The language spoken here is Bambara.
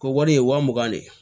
Ko wari ye waa mugan de ye